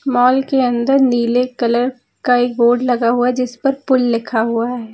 Mall के अंदर नीले कलर का एक बोर्ड लगा हुआ जिस पर पुल लिखा हुआ है।